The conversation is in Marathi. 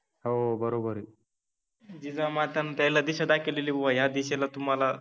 हो बरोबर आहे, जिजामाताने त्याला दिशा दाखवलि कि बाबा ह्या दिशेने तुम्हाला